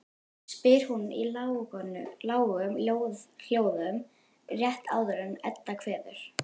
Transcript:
spyr hún í lágum hljóðum rétt áður en Edda kveður.